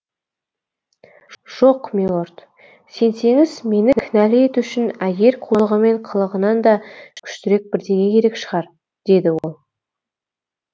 жоқ милорд сенсеңіз мені кінәлі ету үшін әйел қулығы мен қылығынан да күштірек бірдеңе керек шығар деді ол